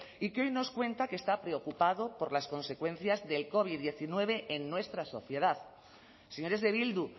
y que hoy nos cuenta que está preocupado por las consecuencias del covid diecinueve en nuestra sociedad señores de bildu